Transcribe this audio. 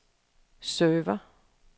server